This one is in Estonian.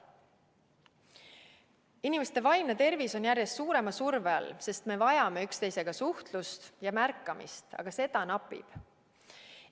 Inimeste vaimne tervis on järjest suurema surve all, sest me vajame üksteisega suhtlust ja märkamist, aga seda napib.